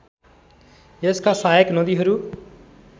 यसका सहायक नदीहरू